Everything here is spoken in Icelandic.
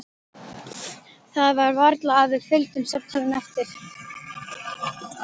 Það var varla að við fylgdum samtalinu eftir.